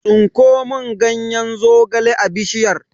Tsinko mun ganyen zogale a bishiyar!